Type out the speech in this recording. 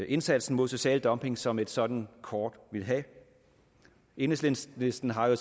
indsatsen mod social dumping som et sådant kort vil have enhedslisten har jo